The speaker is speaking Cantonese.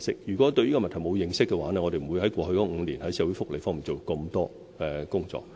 如果對這個問題沒有認識，我們便不會在過去5年在社會福利上做這麼多工作。